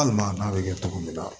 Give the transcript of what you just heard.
Hali maa n'a bɛ kɛ cogo min na